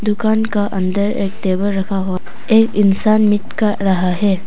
दुकान का अंदर एक टेबल रखा हुआ एक इंसान मिट खा रहा है।